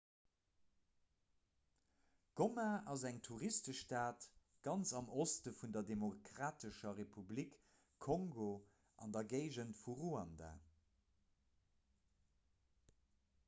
goma ass eng touristestad ganz am oste vun der demokratescher republik kongo an der géigend vu ruanda